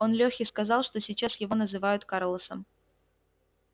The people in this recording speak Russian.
он лехе сказал что сейчас его называют карлосом